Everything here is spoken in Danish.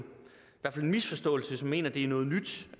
misforståelse hvis man mener det er noget nyt